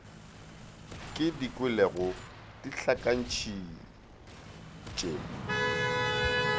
ke di kwelego di ntlhakantšhitše